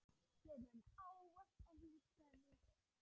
Ég mun ávallt elska þig.